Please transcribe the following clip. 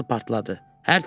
Qaz sobası partladı.